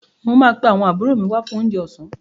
Mo máa pe àwọn àbúrò mi wá fún oúnjẹ ọ̀sán.